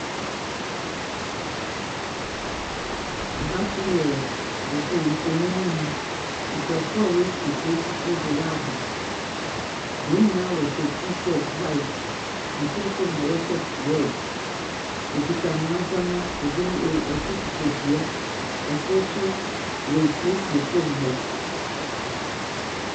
Ha so yɛ wɔ foon mfonyin no mu no, nkorɔfo a woefi kurow fofor do wɔaba. Hɔn nyina wɔhyɛ t-shirt white, nkorkor na wɔhyɛ red, wokitsa hɔn ndzɛmba, kor kitsa dua, kor so worisiesie famu hɔ.